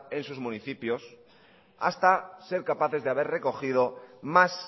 en sus municipios hasta ser capaces de haber recogido más